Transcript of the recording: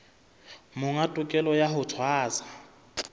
monga tokelo ya ho tshwasa